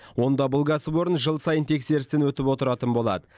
онда бұл кәсіпорын жыл сайын тексерістен өтіп отыратын болады